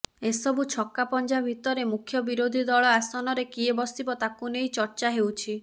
ଏସବୁ ଛକାପଞ୍ଝା ଭିତରେ ମୁଖ୍ୟ ବିରୋଧୀ ଦଳ ଆସନରେ କିଏ ବସିବ ତାକୁ ନେଇ ଚର୍ଚ୍ଚା ହେଉଛି